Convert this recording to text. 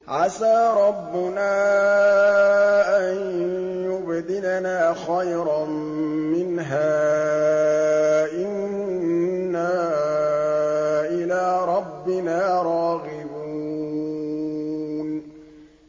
عَسَىٰ رَبُّنَا أَن يُبْدِلَنَا خَيْرًا مِّنْهَا إِنَّا إِلَىٰ رَبِّنَا رَاغِبُونَ